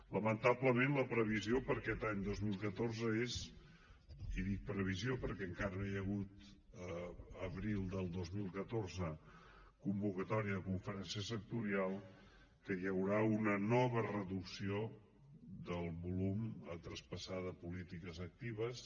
lamentablement la previsió per a aquest any dos mil catorze és i dic previsió perquè encara no hi ha hagut l’abril del dos mil catorze convocatòria de conferència sectorial que hi haurà una nova reducció del volum a traspassar de polítiques actives